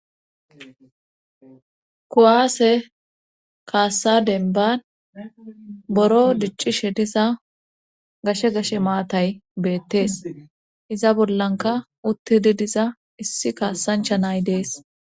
kuwaase kaassa denban boro diccishe diza gashe gashe maatay beettes iza bollanka uttidi diza issi kaassancha nay dees